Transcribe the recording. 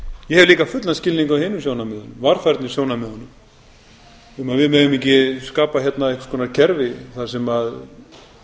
ég hef eina fullan skilning á hinum sjónarmiðunum varfærnissjónarmiðunum um að við megum ekki skapa hérna einhvers konar kerfi þar sem